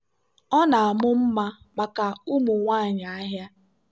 ọ na-amụ mma maka ụmụ nwanyị ahịa.